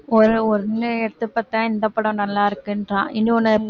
எடுத்து பாத்தா இந்த படம் நல்லா இருக்குன்றான் இன்னொன்னு